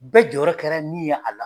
Bɛɛ jɔyɔrɔ kɛra min ye a la